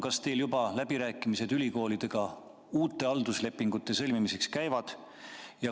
Kas teil juba läbirääkimised ülikoolidega uute halduslepingute sõlmimiseks käivad?